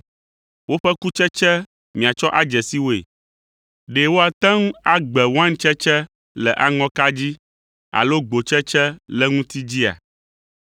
Woƒe kutsetse miatsɔ adze si woe. Ɖe woate ŋu agbe waintsetse le aŋɔka dzi alo gbotsetse le ŋuti dzia?